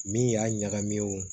Min y'a ɲagamin o